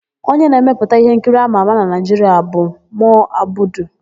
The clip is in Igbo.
Onye na-emepụta íhénkiri ámà ámà na Naịjiria bụ Mo Abudu.